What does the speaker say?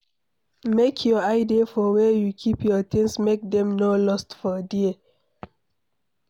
Make your eye dey for where you keep your things make dem no lost for there